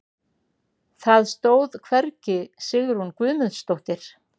Það stóð hvergi Sigrún Guðmundsdóttir.